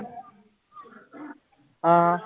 ਹਾਂ।